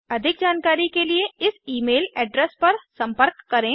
अधिक जानकारी के लिए इस ईमेल एड्रेस पर संपर्क करें